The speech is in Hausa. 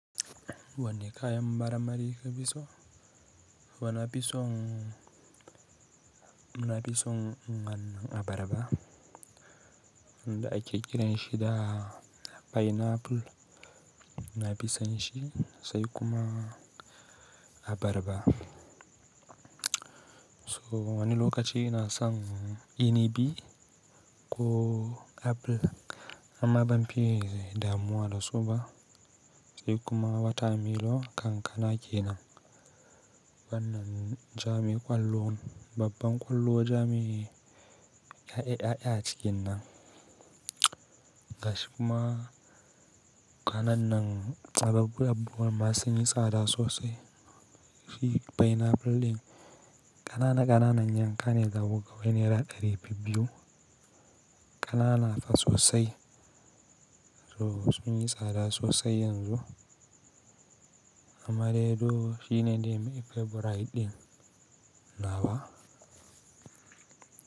Wani kayan mar mari ka fi so? Wana fi son, mu na fi son nganin abarba. Da ake kiran shi da pineapple, muna fisan shi sai kuma abarba. So wani lokaci na san inibi ko apple amma ban fi yi da muwa da so ba. Sai kuma wata milo kankana kenan. Bannnan ja mi kwallo, babban kwallo ja mi ya yi, ya yi a cikin nan. Gashi kuma ƙananan tsabar abbuwar ma sun yi tsada sosai. Fi pineapple ɗin ƙanana ƙanana, yankan yi zaku ga naira ɗari biyu. Ƙanana fa sosai. So sun yi tsada sosai yanzu. Amma dai duk shi ne dimifeburai ɗin nawa?